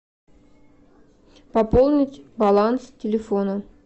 пополнить баланс телефона